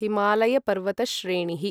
हिमालयपर्वतश्रेणिः